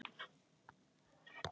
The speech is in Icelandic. Mér verður illt.